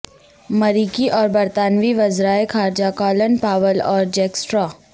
مریکی اور برطانوی وزراء خارجہ کالن پاول اور جیک سٹرا